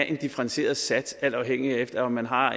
en differentieret sats alt afhængigt af om man har